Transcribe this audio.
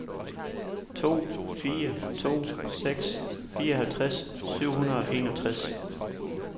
to fire to seks fireoghalvtreds syv hundrede og enogtres